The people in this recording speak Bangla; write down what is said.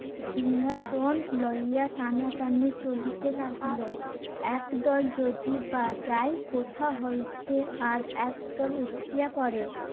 সিংহাসন লইয়া টানাটানি চলিতে লাগিল। একদল যদিও বা যায় কথা হইতে আর একদল উঠিয়া পরে।